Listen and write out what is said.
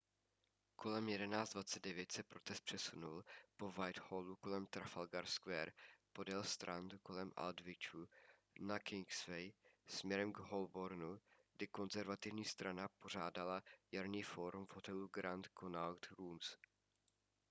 kolem 11:29 se protest přesunul po whitehallu kolem trafalgar square podél strand kolem aldwychu a na kingsway směrem k holbornu kde konzervativní strana pořádala jarní fórum v hotelu grand connaught rooms